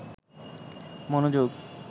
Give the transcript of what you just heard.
মনোযোগ